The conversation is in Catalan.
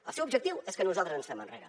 el seu objectiu és que nosaltres ens fem enrere